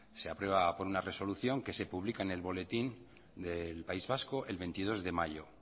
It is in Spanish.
se aprueba por una resolución que se pública en el boletín del país vasco el veintidós de mayo